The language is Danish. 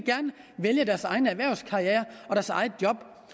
vælge deres egen erhvervskarriere og deres eget job